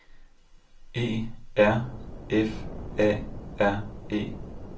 E R F A R E